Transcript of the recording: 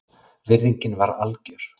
Virðingin var algjör